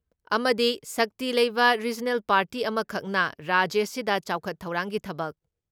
ꯑꯃꯗꯤ ꯁꯛꯇꯤ ꯂꯩꯕ ꯔꯤꯖꯅꯦꯜ ꯄꯥꯔꯇꯤ ꯑꯃꯈꯛꯅ ꯔꯥꯖ꯭ꯌꯁꯤꯗ ꯆꯥꯎꯈꯠ ꯊꯧꯔꯥꯡꯒꯤ ꯊꯕꯛ